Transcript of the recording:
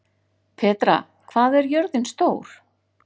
Petra, hvað er jörðin stór?